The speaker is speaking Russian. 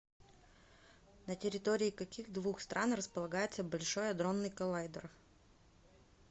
на территории каких двух стран располагается большой адронный коллайдер